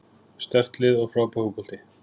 Sterkt lið og frábær fótbolti.